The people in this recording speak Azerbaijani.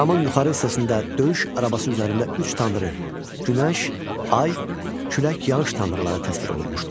Camın yuxarı hissəsində döyüş arabası üzərində üç tanrı, günəş, ay, külək, yağış tanrıları təsvir olunmuşdur.